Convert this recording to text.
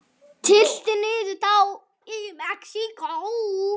Tylltir niður tá í Mexíkó.